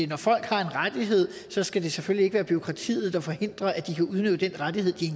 når folk har en rettighed skal det selvfølgelig ikke være bureaukratiet der forhindrer at de kan udnytte den rettighed de